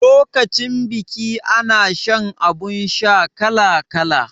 Lokacin biki ana shan abun sha kala kala